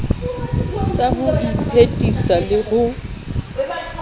sa ho iphedisa le ho